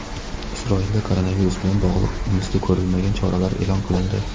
Isroilda koronavirus bilan bog‘liq misli ko‘rilmagan choralar e’lon qilindi.